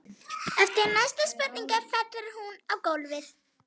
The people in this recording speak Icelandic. Eftir næstu spurningu fellur hún á gólfið.